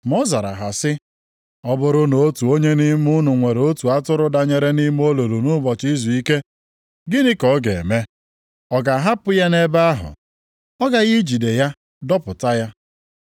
Ma ọ zara ha sị, “Ọ bụrụ na otu onye nʼime unu nwere otu atụrụ danyere nʼime olulu nʼụbọchị izuike gịnị ka ọ ga-eme? Ọ ga-ahapụ ya nʼebe ahụ? Ọ gaghị ejide ya dọpụta ya?